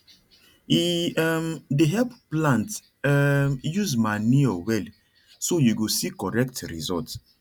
e um dey help plant um use manuure well so you go see correct result